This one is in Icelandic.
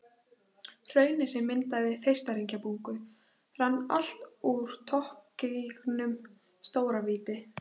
Hraunið sem myndaði Þeistareykjabungu rann allt úr toppgígnum, Stóravíti.